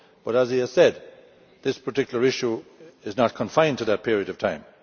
But as he has said, this particular issue is not confined to that period of time.